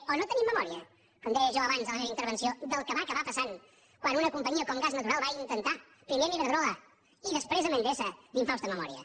o no tenim memòria com deia jo abans en la meva intervenció del que va acabar passant quan una companyia com gas natural va intentar primer amb iberdrola i després amb endesa d’infausta memòria